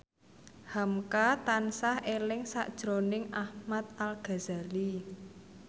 hamka tansah eling sakjroning Ahmad Al Ghazali